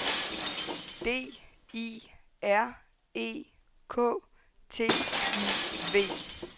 D I R E K T I V